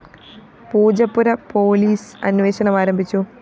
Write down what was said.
Poojappura police അന്വേഷണം ആരംഭിച്ചു